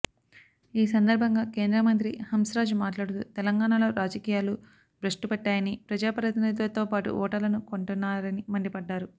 ఈ సందర్బంగా కేంద్ర మంత్రి హంస్రాజ్ మాట్లాడుతూ తెలంగాణలో రాజకీయాలు భ్రష్టుపట్టాయని ప్రజాప్రతినిధులతోపాటు ఓటర్లను కొంటున్నారని మండిపడ్డారు